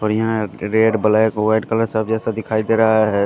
बढ़िया है red black white colour सब जैसा दिखाई दे रहा है।